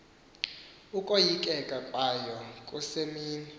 ukoyikeka kwayo kusemini